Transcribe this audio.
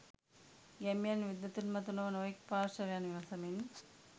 ගැමියන් විද්වතුන් මතු නොව නොයෙක් පාර්ශ්වයන් විමසමින්